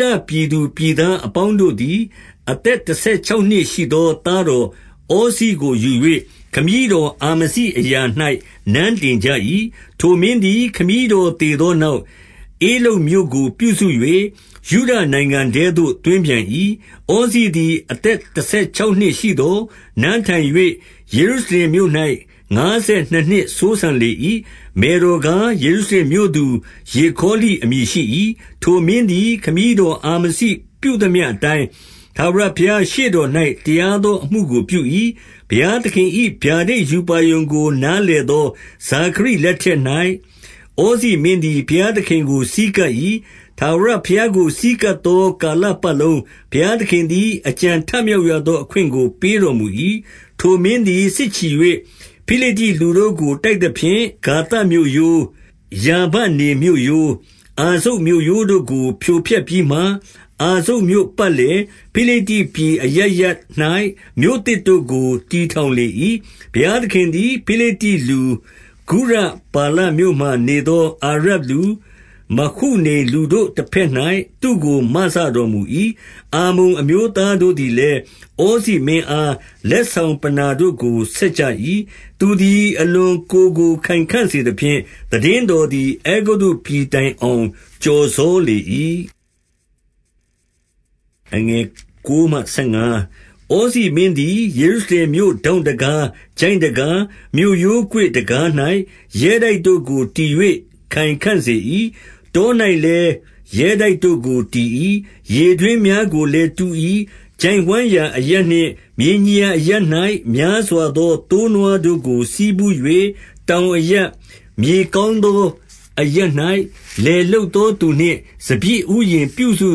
ဒပြည်သူပြည်သားအပေါင်းတို့သည်၊ အသက်တဆယ်ခြောက်နှစ်ရှိသော သားတော်ဩဇိကို ယူ၍ ခမည်းတော် အာမဇိအရာ၌ နန်းတင်ကြ၏။ ထိုမင်းသည် ခမည်းတော်သေသောနောက်၊ ဧလုတ်မြို့ကို ပြုစု၍ ယုဒနိုင်ငံထဲသို့ သွင်းပြန်၏။ ဩဇိသည် အသက်တဆယ်ခြောက်နှစ်ရှိသော်၊ နန်းထိုင်၍ ယေရုရှလင်မြို့၌ ငါးဆယ်နှစ်နှစ်စိုးစံလေ၏။ မယ်တော်ကား၊ ယေရုရှလင်မြို့သူ ယေခေါလိ အမည် ရှိ၏။ ထိုမင်းသည် ခမည်းတော် အာမဇိပြုသမျှ အတိုင်း၊ ထာဝရဘုရားရှေ့တော်၌ တရားသောအမှုကို ပြု၏။ ဘုရားသခင်၏ ဗျာဒိတ်ရူပါရုံကို နားလည် သော ဇာခရိလက်ထက်၌၊ ဩဇိမင်းသည် ဘုရားသခင်ကို ဆည်းကပ်၏။ ထာဝရဘုရားကို ဆည်းကပ်သော ကာလပတ်လုံး၊ ဘုရားသခင်သည် အကြံထမြောက် ရသော အခွင့်ကို ပေးတော်မူ၏။ ထိုမင်းသည် စစ်ချီ၍ ဖိလိတ္တိလူတို့ကို တိုက် သဖြင့်၊ ဂါသမြို့ရိုး၊ ယာဗနေမြို့ရိုး၊ အာဇုတ်မြို့ရိုးတို့ကို ဖြိုဖျက်ပြီးမှ၊ အာဇုတ်မြို့ပတ်လည်၊ ဖိလိတ္တိပြည်အရပ် ရပ်၌ မြို့သစ်တို့ကို တည်ထောင်လေ၏။ ဘုရားသခင်သည် ဖိလိတ္တိလူ၊ ဂုရဗာလမြို့မှာ နေသောအာရပ်လူ၊ မဟုနိမ်လူတို့တဘက်၌ သူ့ကို မစတော် မူ၏။ အမ္မုန်အမျိုးသားတို့သည်လည်း၊ ဩဇိမင်းအား လက်ဆောင်ပဏ္ဍာတို့ကို ဆက်ကြ၏။ သူသည် အလွန် ကိုယ်ကိုယ်ခိုင်ခံ့စေသဖြင့်၊ သိတင်းတော်သည် အဲဂုတ္တု ပြည်တိုင်အောင် ကျော်စောလေ၏။ ဩဇိမင်းသည် ယေရုရှလင်မြို့ ထောင့်တံခါး၊ ချိုင့်တံခါး၊ မြို့ရိုးကွေ့တံခါး၌ ရဲတိုက်တို့ကို တည်၍ ခိုင်ခံ့စေ၏။ တော၌လည်းရဲတိုက်တို့ကို တည်၏။ ရေတွင်း များကိုလည်း တူ၏။ ချိုင့်ဝှမ်းရာ အရပ်နှင့်မြေညီရာ အရပ်၌ များစွာသော သိုးနွားတို့ကို ဆည်းဖူး၍ တောင် အရပ်၊ မြေကောင်းသောအရပ်၌ လယ်လုပ်သောသူနှင့် စပျစ်ဥယျာဉ် ပြုစု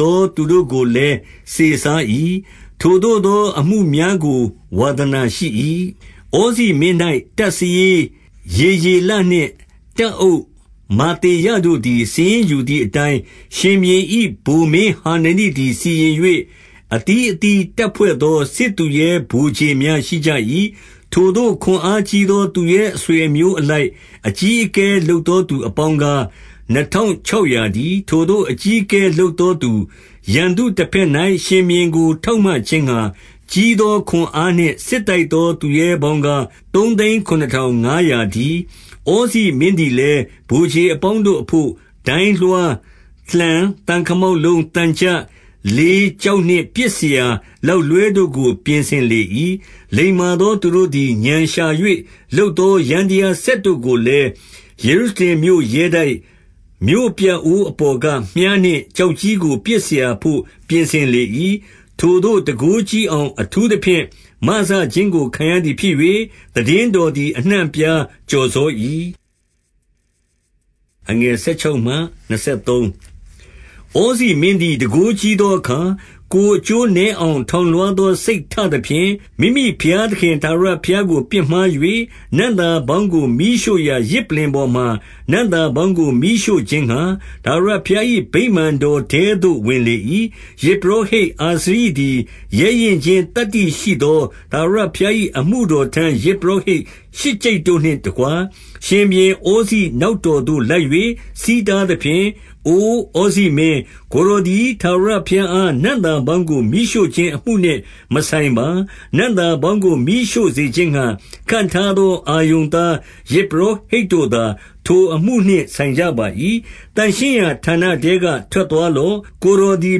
သောသူတို့ကိုလည်း စေစား၏။ ထိုသို့ သော အမှုများကို ဝါသနာရှိ၏။ ဩဇိမင်း၌ တပ်စာရေးယေယေလနှင့် တပ်အုပ် မာသေယတို့သည် စာရင်းယူသည်အတျိုင်း၊ ရှင်ဘုရင်၏ ဗိုလ်မင်းဟာ နနိသည် စီရင်၍၊ အသီး အသီးတပ်ဖွဲ့သော စစ်သူရဲဗိုလ်ခြေများရှိကြ၏။ ထိုသို့ခွန်အားကြီးသော သူရဲအဆွေအမျိုး အလိုက် အကြီးအကဲ လုပ်သောသူပေါင်းကား၊ နှစ်ထောင်ခြောက်ရာတည်း။ ထိုသို့အကြီးအကဲလုပ်သောသူ၊ ရန်သူတဘက်၌ ရှင်ဘုရင်ကို ထောက်မခြင်းငှါ၊ ကြီးသောခွန်အားနှင့် စစ်တိုက်သောသူရဲပေါင်းကား၊ သုံးသိန်းခုနစ်ထောင် ငါးရာတည်း။ ဩဇိမင်းသည်လည်း၊ ဗိုလ်ခြေအပေါင်းတို့အဘို့ ဒိုင်းလွှား၊ လှံ၊ သံခမောက်လုံး၊ သံချပ်၊ လေး၊ ကျောက်နှင့် ပစ်စရာလောက်လွှဲတို့ကို ပြင်ဆင်လေ၏။ လိမ္မာသောသူတို့သည် ဥာဏ်ရှာ၍လုပ်သော ယန္တရားစက်တို့ကိုလည်း၊ ယေရှုရှလင်မြို့ရဲတိုက်၊ မြို့ပြအိုး အပေါ်က မြှားနှင့်ကျောက်ကြီးကို ပစ်စရာဘို့ ပြင်ဆင် လေ၏။ ထိုသို့တန်ခိုးကြီးအောင် အထူးသဖြင့် မစခြင်းကို ခံရသည်ဖြစ်၍၊ သိတင်းတော်သည် အနှံ့အပြားကျော်စော ၏။ ဩဇိမင်းသည် တန်ခိုးကြီးသောအခါ၊ ကိုယ် အကျိုးနည်းအောင် ထောင်လွှားသောစိတ်ထသဖြင့်၊ မိမိ ဘုရားသခင် ထာဝရဘုရားကို ပြစ်မှား၍၊ နံ့သာပေါင်းကို မီးရှို့ရာ ယဇ်ပလ္လင်ပေါ်မှာ နံ့သာပေါင်းကို မီးရှို့ခြင်းငှါ၊ ထာဝရဘုရား၏ ဗိမာန်တော်ထဲသို့ ဝင်လေ၏။ ယဇ်ပုရောဟိတ်အာဇရိသည် ရဲရင့်ခြင်းသတ္တိ ရှိသော ထာဝရဘုရား၏ အမှုတော်ထမ်းယဇ်ပုရောဟိတ် ရှစ်ကျိပ်တို့နှင့်တကွ၊ ရှင်ဘုရင်ဩဇိနောက်တော်သို့ လိုက်၍၊ ဆီးတားသဖြင့်၊အိုဩဇိမင်း၊ ကိုယ်တော်သည် ထာဝရဘုရားအား နံ့သာပေါင်းကို မီးရှို့ခြင်းအမှုနှင့် မဆိုင်ပါ။ နံ့သာပေါင်းကို မီးရှို့စေခြင်းငှါ၊ ခန့်ထား သောအာရုန်သား ယဇ်ပုရောဟိတ်တို့သာ ထိုအမှုနှင့် ဆိုင်ကြပါ၏။ သန့်ရှင်းရာဌာနထဲက ထွက်သွားလော့။ ကိုယ်တော်သည်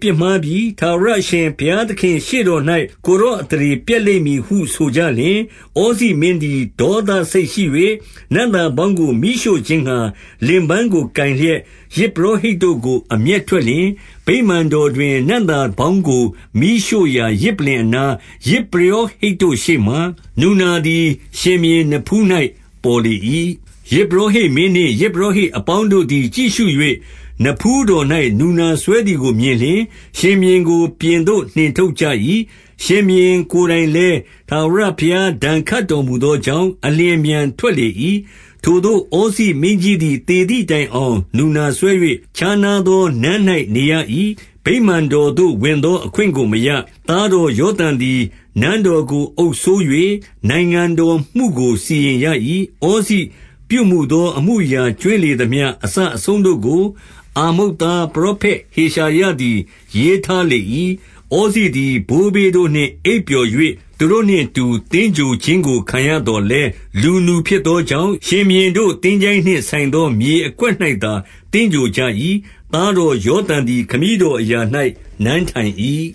ပြစ်မှားပြီ။ ထာဝရအရှင် ဘုရားသခင့် ရှေ့တော်၌ ကိုယ်တော်အသရေပျက်လိမ့်မည်ဟု ဆိုကြ လျှင်၊ ဩဇိမင်းသည် ဒေါသစိတ်ရှိ၍၊ နံ့သာပေါင်းကို မီးရှို့ခြင်းငှါ၊ လင်ပန်းကိုကိုင်လျက်၊ ယဇ်ပုရောဟိတ်တို့ကို အမျက်ထွက်လျှင်၊ ဗိမာန်တော်တွင် နံ့သာပေါင်းကို မီးရှို့ ရာယဇ်ပလ္လင်၏အနား၊ ယဇ်ပုရောဟိတ်တို့ ရှေ့မှာ၊ နူနာ သည် ရှင်ဘုရင်နဖူး၌ ပေါ်လေ၏။ ယဇ်ပုရောဟိတ်မင်းနှင့် ယဇ်ပုရောဟိတ် အပေါင်းတို့သည် ကြည့်ရှု၍၊ နဖူးတော်၌ နူနာစွဲသည် ကိုမြင်လျှင်၊ ရှင်ဘုရင်ကို ပြင်သို့နှင်ထုတ်ကြ၏။ ရှင်ဘုရင် ကိုယ်တိုင်လည်း၊ ထာဝရဘုရားဒဏ်ခတ်တော်မူသော ကြောင့်၊ အလျင်အမြန်ထွက်လေ၏။ ထိုသို့ဩဇိမင်းကြီးသည် သေသည်တိုင်အောင် နူနာစွဲ၍၊ ခြားနားသောနန်း၌နေရ၏။ ဗိမာန်တော်သို့ ဝင်သော အခွင့်ကို မရ။ သားတော်ယောသံသည် နန်းတော်ကို အုပ်စိုး၍ နိုင်ငံတော်မှုကိုစီရင်ရ၏။ ဩဇိပြုမူသောအမှုအရာ ကြွင်းလေသမျှ အစ အဆုံးတို့ကို၊ အာမုတ်သား ပရောဖက်ဟေရှာယသည် ရေးထားလေ၏။ ဩဇိသည် ဘိုးဘေးတို့နှင့်အိပ်ပျော်၍၊ သူတို့နှင့် အတူ သင်္ဂြိုဟ်ခြင်းကိုခံရသော်လည်း၊ လူနူဖြစ်သော ကြောင့်၊ ရှင်ဘုရင်ကို သင်္ချိုင်းနှင့်ဆိုင် သောမြေအကွက်၌ သာ သင်္ဂြိဟ်ကြ၏။ သားတော်ယောသံသည် ခမည်း တော်အရာ၌ နန်းထိုင်၏။